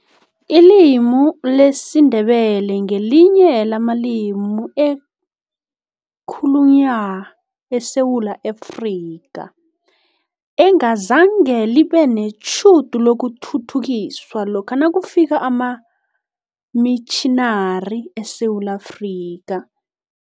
Ilimi lesiNdebele ngelinye lamalimi ekhalunywa eSewula Afrika, engazange libe netjhudu lokuthuthukiswa lokha nakufika amamitjhinari eSewula Afrika.